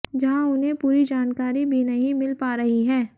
जहां उन्हें पूरी जानकारी भी नहीं मिल पा रही है